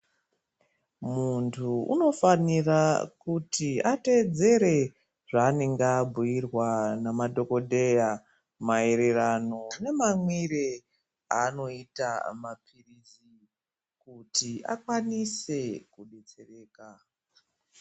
Muntu unofanira kuti ateedzere zvaanenge abhuirwa ngemadhokodheya, maererano nemamwire aanoita mapirizi kuti akwanise kudetsereka.